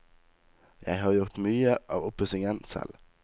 Jeg har gjort mye av oppussingen selv.